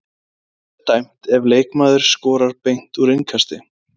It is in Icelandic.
Hvað er dæmt ef leikmaður skorar beint úr innkasti?